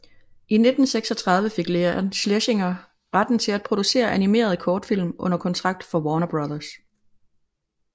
I 1936 fik Leon Schlesinger retten til at producere animerede kortfilm under kontrakt for Warner Bros